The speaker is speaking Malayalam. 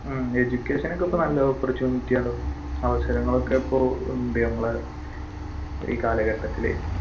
ഉം education ഒക്കെ ഇപ്പൊ നല്ല opportunity ആണ് അവസരങ്ങൾ ഒക്കെ ഇപ്പോയുണ്ട് ഞമ്മളെ ഈ കാലഘട്ടത്തിൽ